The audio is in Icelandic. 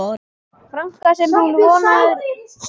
franka sem hún vonar að komi fyrir jólin.